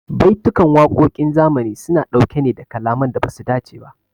Baitukan waƙoƙin zamani su na ɗauke ne da kalaman da basu dace ba